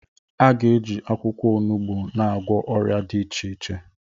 A ga-eji akwụkwọ onogbu na-agwọ ọrịa dị iche iche.